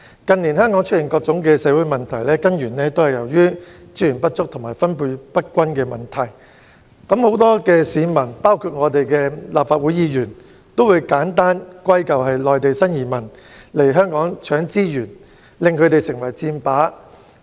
近年香港出現各種社會問題，根源在於資源不足和分配不均，但很多市民和立法會議員會將問題簡單歸咎於內地新移民來香港搶資源，令後者成為箭靶。